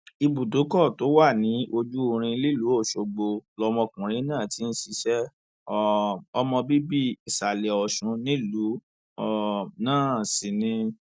ibùdókọ tó wà ní ojúrin nílùú ọṣọgbó lọmọkùnrin náà ti ń ṣiṣẹ um ọmọ bíbí ìsàlẹ ọṣun nílùú um náà sí ni